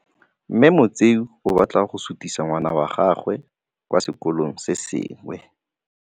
Mme Motsei o batla go sutisa ngwana wa gagwe kwa sekolong se sengwe.